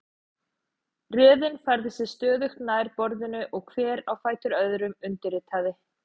Röðin færði sig stöðugt nær borðinu og hver á fætur öðrum undirritaði.